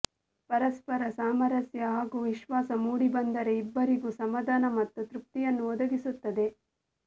ಪರಸ್ಪರ ಸಾಮರಸ್ಯ ಹಾಗೂ ವಿಶ್ವಾಸ ಮೂಡಿಬಂದರೆ ಇಬ್ಬರಿಗೂ ಸಮಾಧಾನ ಮತ್ತು ತೃಪ್ತಿಯನ್ನು ಒದಗಿಸುತ್ತದೆ